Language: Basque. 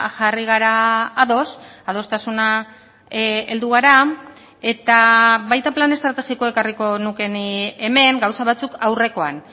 jarri gara ados adostasuna heldu gara eta baita plan estrategikoa ekarriko nuke ni hemen gauza batzuk aurrekoan